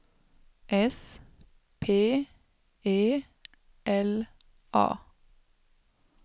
S P E L A